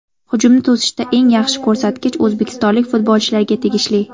Hujumni to‘sishda eng yaxshi ko‘rsatkich o‘zbekistonlik futbolchilarga tegishli.